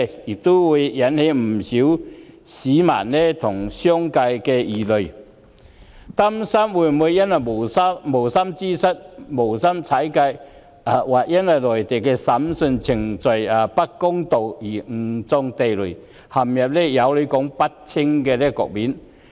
因此，不少市民和商界人士憂慮，日後會因無心之失踩界，或因內地審訊程序不公而誤中地雷，陷入有理說不清的局面。